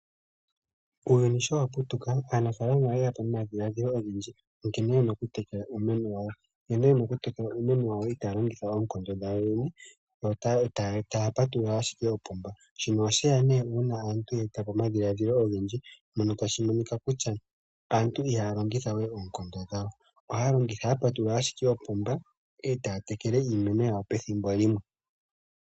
Uuyuni sho wapu tuka aanafalama oye yapo nomadhiladhilo ogendji nkene yena oku tekela iimeno yawo. Nkene yena oku tekela iimeno yawo itaya longitha onkondo dhawo yene, taya patulula ashike opomba shino osheya ne una aantu ye etapo omadhiladhilo ogendji mono tashi monika kutya aantu ihaya longitha we onkondo dhawo ohaya pa tulula shike opomba etaya tekele iimeno yawo pethimbo limwe.